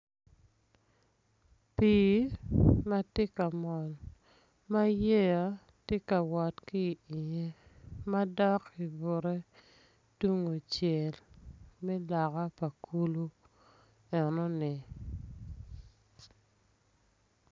Pii matye ka mol ma yeya tye ka wot ki tenge madok ibute tung kucel me loka pa kulu enuni